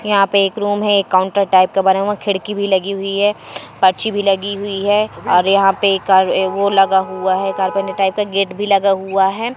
यहां पे एक रूम है काउंटर टाइप का बना हुआ खिड़की भी लगी हुई है परछी भी लगी हुई है और यहां पर एक कार वो लगा हुआ है कारपेंटर टाइप का गेट भी लगा हुआ है।